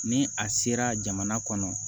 Ni a sera jamana kɔnɔ